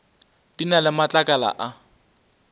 di na le matlakala a